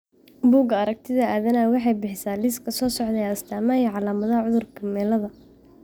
Bugaa aragtida aDdanaha waxay bixisaa liiska soo socda ee astamaha iyo calaamadaha cudurka Meleda.